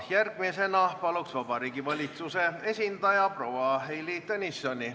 Järgmisena palun, Vabariigi Valitsuse esindaja proua Heili Tõnisson!